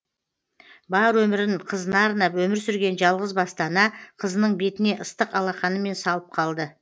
бар өмірін қызына арнап өмір сүрген жалғыз басты ана қызының бетіне ыстық алақанымен салып қалды